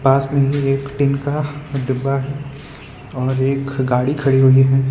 पास में ही एक टीन का डब्बा है और एक गाडी खड़ी हुए है।